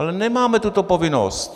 Ale nemáme tuto povinnost!